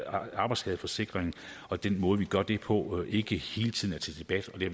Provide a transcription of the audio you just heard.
arbejdsskadeforsikring og den måde vi gør det på ikke hele tiden er til debat og vi